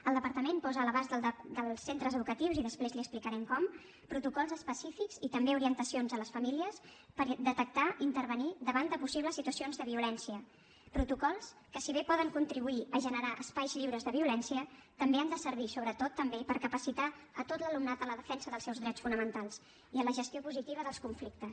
el departament posa a l’abast dels centres educatius i després li explicarem com protocols específics i també orientacions a les famílies per detectar i intervenir davant de possibles situacions de violència protocols que si bé poden contribuir a generar espais lliures de violència també han de servir sobretot també per capacitar a tot l’alumnat en la defensa dels seus drets fonamentals i en la gestió positiva dels conflictes